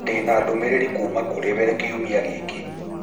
Ndĩna ndũmĩrĩri kuuma kũrĩ we kiumia gĩkĩ